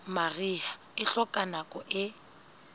mariha e hloka nako e